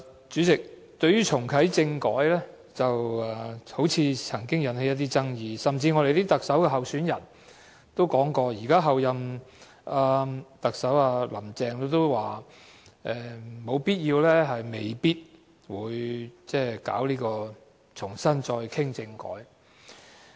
主席，對於重啟政改，好像曾經引起一些爭議，甚至連特首候選人以至候任特首亦表示，現時沒有必要、亦未必會重新討論政改。